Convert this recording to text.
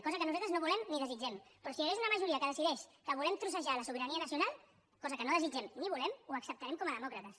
cosa que nosaltres no volem ni desitgem però si hi hagués una majoria que decideix que volem trossejar la sobirania nacional cosa que no desitgem ni volem ho acceptarem com a demòcrates